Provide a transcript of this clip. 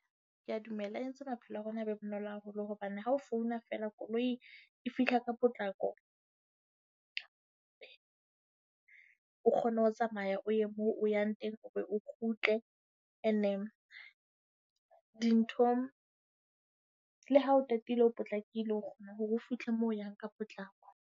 Ke a dumela, e entse maphelo a rona a be bonolo haholo hobane ha o founa fela koloi e fihla ka potlako. O kgone ho tsamaya o ye moo o yang teng, o be o kgutle. And then dintho le ha o tatile o potlakile, o kgona hore o fihle moo o yang ka potlako.